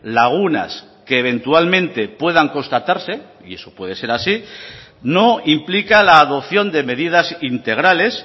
lagunas que eventualmente puedan constatarse y eso puede ser así no implica la adopción de medidas integrales